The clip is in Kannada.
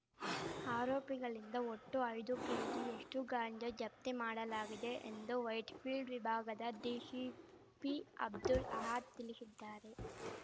ಆರೋಪಿಗಳಿಂದ ಒಟ್ಟು ಐದು ಕೆಜಿಯಷ್ಟುಗಾಂಜಾ ಜಪ್ತಿ ಮಾಡಲಾಗಿದೆ ಎಂದು ವೈಟ್‌ಫೀಲ್ಡ್‌ ವಿಭಾಗದ ಡಿಶಿಪಿ ಅಬ್ದುಲ್‌ ಅಹದ್‌ ತಿಳಿಶಿದ್ದಾರೆ